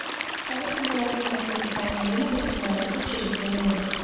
повысь температуру на кондиционере на восемь градусов через две минуты